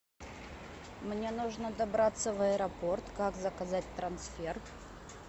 мне нужно добраться в аэропорт как заказать трансфер